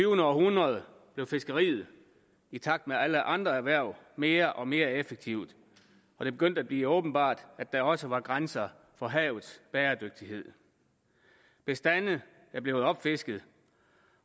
århundrede blev fiskeriet i takt med alle andre erhverv mere og mere effektivt og det begyndte at blive åbenbart at der også var grænser for havets bæredygtighed bestande er blevet opfisket